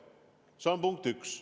See on punkt üks.